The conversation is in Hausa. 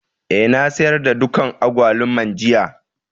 Eh, na sayar da dukan agbaluman jiya.